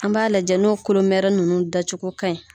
An b'a lajɛ n'o kolomɛrɛnin ninnu dacogo ka ɲi.